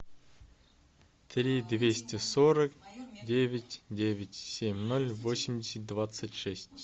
три двести сорок девять девять семь ноль восемьдесят двадцать шесть